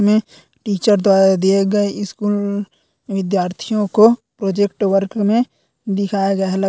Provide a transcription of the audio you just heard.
मे teacher द्वारा दिया गया स्कूल विद्यार्थियों को प्रोजेक्ट वर्क मे दिखाया गया है।